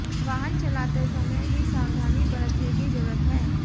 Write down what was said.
वाहन चलाते समय भी सावधानी बरतने की जरुरत है